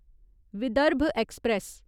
Vidarbha express